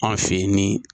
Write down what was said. Anw fɛ yen ni